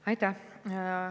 Aitäh!